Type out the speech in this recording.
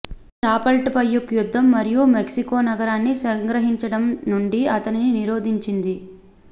ఇది చాపల్ట్పెయుక్ యుద్ధం మరియు మెక్సికో నగరాన్ని సంగ్రహించడం నుండి అతనిని నిరోధించింది